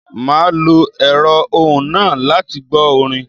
Màá lo èrọ́ ohùn náà láti gbó orin